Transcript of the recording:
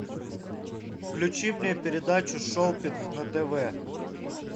включи мне передачу шопинг на тв